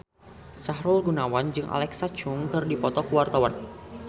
Sahrul Gunawan jeung Alexa Chung keur dipoto ku wartawan